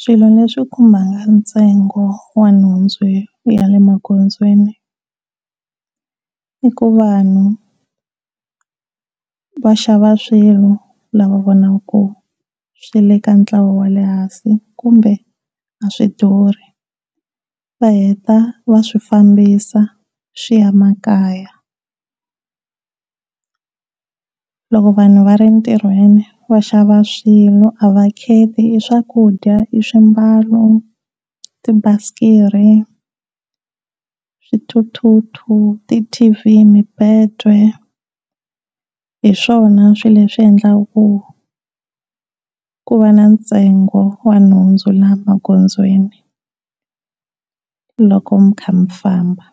Swilo leswi khumbaka ntsengo wa nhundzu hi ku ya le magondzweni, i ku vanhu va xava swilo lava vonaka swi le ka ntlawa wa le hansi kumbe a swi duri va heta va swifambisa swi ya makaya. Loko vanhu va ri tirhweni va xava swin'we a va kheti i swakudya, i swimbalo, tibasikiri, swithuthuthu, ti-T_V, mibedo hiswona swilo leswi endlaka ku ku va na ntsengo wa nhundzu lama gondzweni loko mikha mi famba.